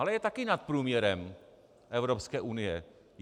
Ale je taky nad průměrem Evropské unie.